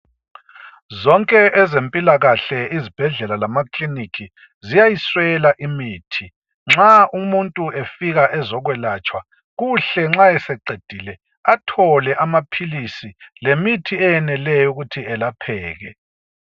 Zonke ezempilakahle izibhedlela lamakilinika ziyayiswela imithi. Nxa umuntu efika ezokwelatshwa kuhle nxa eseqedile athole amaphilisi lemithi eyeneleyo ukuthi elapheke.